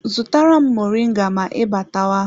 Zụtara m moringa ma ị batawa!